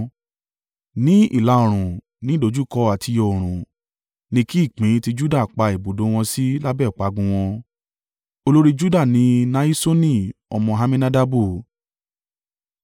Ní ìlà-oòrùn, ní ìdojúkọ àtiyọ oòrùn: ni kí ìpín ti Juda pa ibùdó wọn sí lábẹ́ ọ̀págun wọn. Olórí Juda ni Nahiṣoni ọmọ Amminadabu.